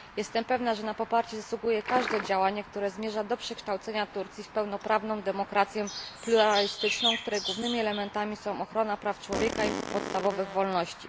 Jestem pewna, że na poparcie zasługuje każde działanie, które zmierza do przekształcenia Turcji w pełnoprawną demokrację pluralistyczną, której głównymi elementami są ochrona praw człowieka i podstawowych wolności.